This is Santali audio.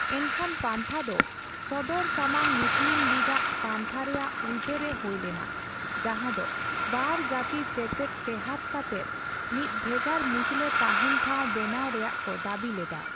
ᱮᱱᱠᱷᱟᱱ, ᱯᱟᱱᱛᱷᱟ ᱫᱚ ᱥᱚᱫᱚᱨᱥᱟᱢᱟᱝ ᱢᱩᱥᱞᱤᱢ ᱞᱤᱜᱽ ᱟᱜ ᱯᱟᱱᱛᱷᱟ ᱨᱮᱭᱟᱜ ᱩᱞᱴᱟᱹ ᱨᱮ ᱦᱳᱭ ᱞᱮᱱᱟ, ᱡᱟᱦᱟᱸ ᱫᱚ ᱵᱟᱨᱼᱡᱟᱹᱛᱤ ᱛᱮᱛᱮᱫ ᱴᱮᱸᱦᱟᱰ ᱠᱟᱛᱮᱫ ᱢᱤᱫ ᱵᱷᱮᱜᱟᱨ ᱢᱩᱥᱞᱟᱹ ᱛᱟᱦᱮᱸᱱ ᱴᱷᱟᱣ ᱵᱮᱱᱟᱣ ᱨᱮᱭᱟᱜ ᱠᱚ ᱫᱟᱹᱵᱤ ᱞᱮᱫᱟ ᱾